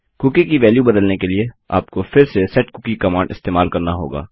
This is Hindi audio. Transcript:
कूकी की वेल्यु बदलने लिए आपको फिर से सेटकुकी कमांड इस्तेमाल करना होगा